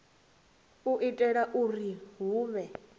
u itela uri hu vhe